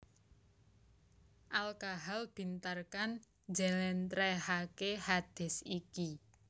Al Kahal bin Tharkan njlèntrèhake hadits iki